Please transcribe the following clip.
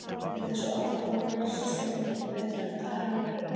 Við þessi orð konunnar sá Sveinn ekki betur en dalurinn væri unninn.